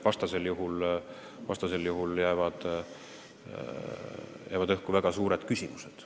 Vastasel juhul jääksid õhku väga suured küsimused.